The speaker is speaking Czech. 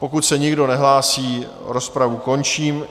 Pokud se nikdo nehlásí, rozpravu končím.